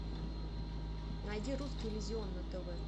найди русский иллюзион на тв